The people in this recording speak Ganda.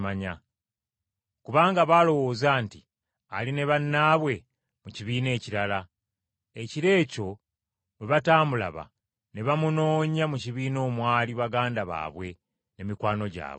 Kubanga baalowooza nti ali ne bannaabwe mu kibiina ekirala, ekiro ekyo bwe bataamulaba, ne bamunoonya mu kibiina omwali baganda baabwe ne mikwano gyabwe.